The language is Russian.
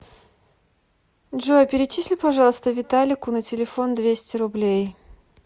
джой перечисли пожалуйста виталику на телефон двести рублей